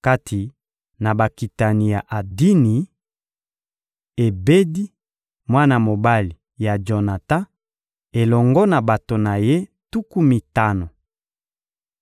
Kati na bakitani ya Adini: Ebedi, mwana mobali ya Jonatan, elongo na bato na ye tuku mitano.